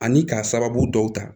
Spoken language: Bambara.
Ani k'a sababu dɔw ta